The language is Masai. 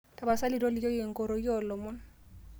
Tapasali tolikioki nkoroki oolomon